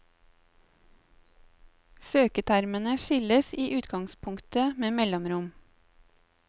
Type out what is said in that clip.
Søketermene skilles i utgangspunktet med mellomrom.